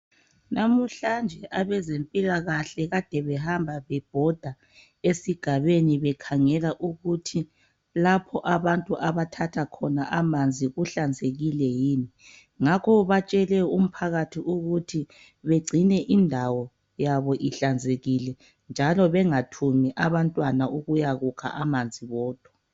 Namhlanje abezempilakahle kade behamba bebhoda esigabeni bekhangela ukuthi lapho abantu abathatha khona amanzi kuhlanzekile. Ngakho batshele umphakathi ukuthi bagcine indawo yabo ihlanzekile njalo bangathumi abantwana ukuyekukha amanzi bodwa.